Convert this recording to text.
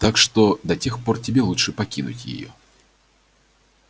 так что до тех пор тебе лучше покинуть её